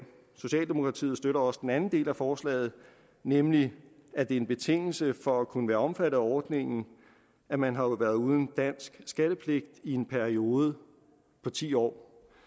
socialdemokratiet støtter også den anden del af forslaget nemlig at det er en betingelse for at kunne være omfattet af ordningen at man har været uden dansk skattepligt i en periode på ti år